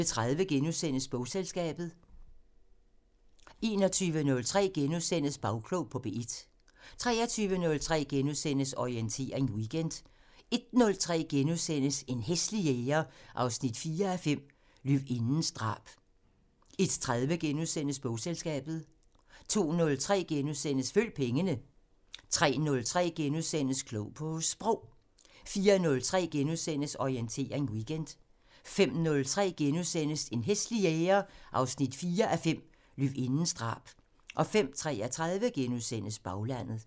01:30: Bogselskabet * 02:03: Følg pengene * 03:03: Klog på Sprog * 04:03: Orientering Weekend * 05:03: En hæslig jæger 4:5 – Løvindens drab * 05:33: Baglandet *